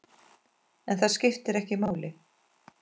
En það skiptir ekki máli.